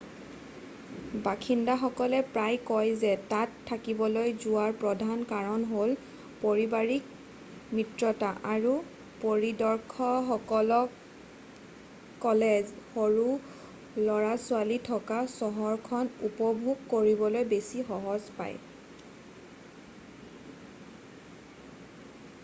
বাসিন্দাসকলে প্ৰায় কয় যে তাত থাকিবলৈ যোৱাৰ প্ৰধান কাৰণ হ'ল পাৰিবাৰিক মিত্ৰতা আৰু পৰিদৰ্শকসকলে সৰু লৰা-ছোৱালী থকা চহৰখন উপভোগ কৰিবলৈ বেছি সহজ পায়